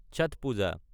ছাথ পূজা